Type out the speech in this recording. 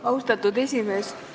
Austatud esimees!